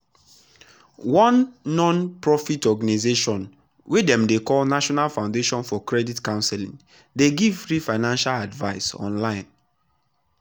one non-profit organization wey dem dey call national foundation for credit counseling dey give free financial advice online.